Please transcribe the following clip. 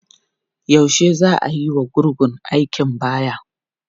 Yaushe za a yiwa gurgun aikin baya?